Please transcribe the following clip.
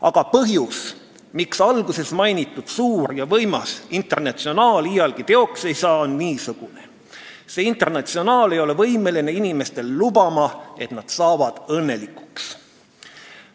Aga põhjus, miks alguses mainitud suur ja võimas Internatsionaal iialgi teoks ei saa, on niisugune: see Internatsionaal ei ole võimeline inimestele lubama, et nad saavad õnnelikuks.